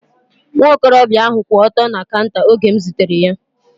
Nwa okorobịa ahu kwụ ọtọ na kaunta oge m zutere ya